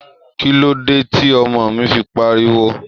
Kí ló dé tí ọmọ mi fi ń pariwo?